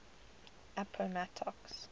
appomattox